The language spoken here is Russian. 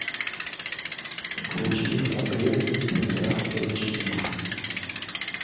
включи храбрец ультра эйч ди